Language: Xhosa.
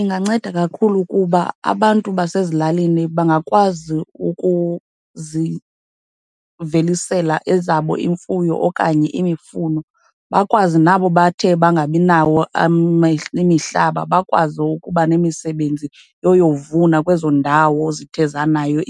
Inganceda kakhulu kuba abantu basezilalini bangakwazi ukuzivelisela ezabo iimfuyo okanye imifuno. Bakwazi nabo bathe bangabi nawo imihlaba, bakwazi ukuba nemisebenzi yoyovuna kwezo ndawo zithe zanayo